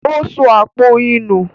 Ó sọ àpò oyin nù.